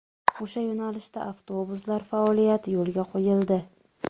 O‘sha yo‘nalishda avtobuslar faoliyati yo‘lga qo‘yildi.